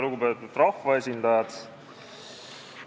Lugupeetud rahvaesindajad!